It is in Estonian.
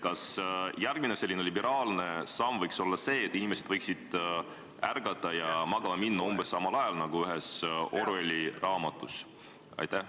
Kas järgmine liberaalne samm võiks olla see, et inimesed võiksid ärgata ja magama minna kõik ühel ajal, nagu ühes Orwelli raamatus?